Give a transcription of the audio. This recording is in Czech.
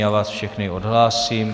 Já vás všechny odhlásím.